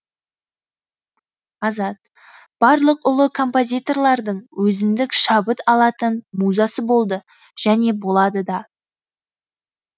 азат барлық ұлы композиторлардың өзіндік шабыт алатын музасы болды және болады да